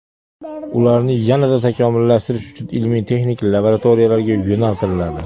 Ularni yanada takomillashtirish uchun ilmiy-texnik laboratoriyalarga yo‘naltiriladi.